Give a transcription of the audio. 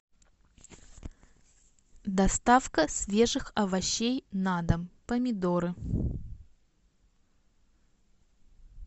доставка свежих овощей на дом помидоры